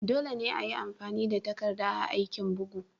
Dole ne ayi amfani da takarda a aikin bugu.